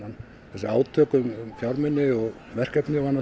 þessi átök um fjármuni og verkefni